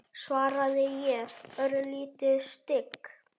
svaraði ég, örlítið stygg.